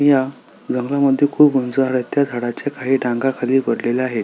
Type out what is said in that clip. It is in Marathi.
या जंगला मध्ये खूप उंच झाड आहेत त्या झाडाच्या काही खाली पडलेल्या आहे.